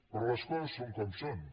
però les coses són com són